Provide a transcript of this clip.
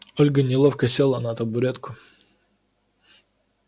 ольга неловко села на табуретку